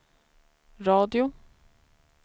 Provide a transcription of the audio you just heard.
radio